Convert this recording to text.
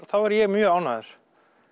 þá er ég mjög ánægður